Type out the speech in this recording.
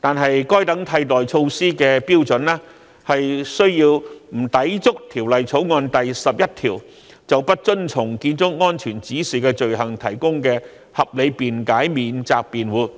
但該等替代措施的標準須不抵觸《條例草案》第11條就不遵從消防安全指引的罪行提供的合理辯解免責辯護。